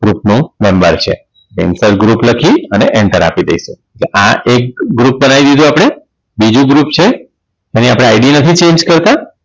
group નું Member છે Insert group લખી અને enter આપી દઈશું તો આ એક group ચડાઈ દીધું આપણે બીજું group છે એની અપને id નથી Change કરતા